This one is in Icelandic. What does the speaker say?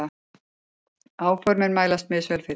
Áformin mælast misvel fyrir.